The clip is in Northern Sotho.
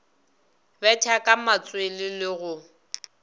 betha ka matswele le go